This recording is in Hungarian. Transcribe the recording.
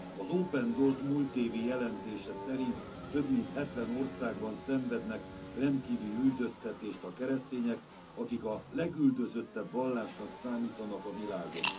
Az Open Doors múlt évi jelentése szerint több mint hetven országban szenvednek rendkívüli üldöztetést a keresztények, akik a legüldözöttebb vallásnak számítanak a világon.